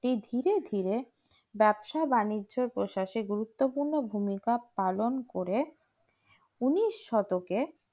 এই ধীরে ধীরে ব্যবসা-বাণিজ্যের প্রশাসের গুরুত্বপূর্ণ ভূমিকা পালন করে উনিশ শতকে